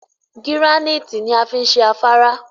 Gíránìtì ni a fi n ṣe afárá